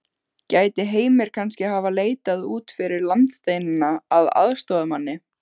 Gæti Heimir kannski hafa leitað út fyrir landsteinana að aðstoðarmanni?